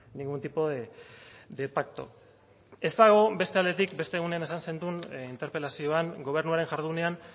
ningún tipo de pacto ez dago beste aldetik beste egunean esan zenuen interpelazioan gobernuaren jardunean